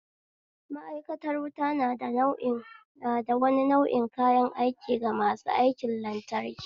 Ma'aikantar wuta nada wani nau'i kayan aiki ga masu aikin lantraki